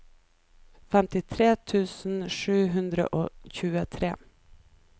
femtitre tusen sju hundre og tjuetre